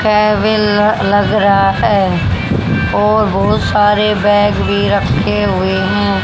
लग रहा है और बहुत सारे बैग भी रखे हुए हैं।